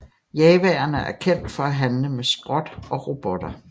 Jawaerne er kendt for at handle med skrot og robotter